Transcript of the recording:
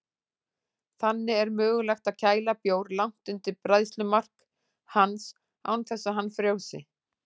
Þannig er mögulegt að kæla bjór langt undir bræðslumark hans án þess að hann frjósi.